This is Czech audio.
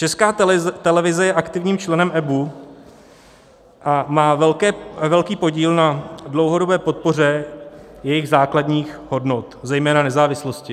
Česká televize je aktivním členem EBU a má velký podíl na dlouhodobé podpoře jejich základních hodnot, zejména nezávislosti.